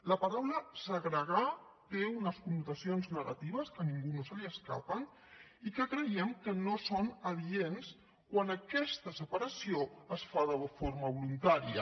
la paraula segregar té unes connotacions negatives que a ningú no se li escapen i que creiem que no són adients quan aquesta separació es fa de forma voluntària